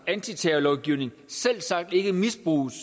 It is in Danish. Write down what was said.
antiterrorlovgivning selvsagt ikke misbruges